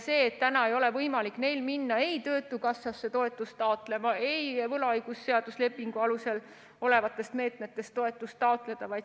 Neil ei ole võimalik minna ei töötukassasse toetust taotlema ega võlaõigusseadusliku lepingu alusel antavatest meetmetest toetust taotleda.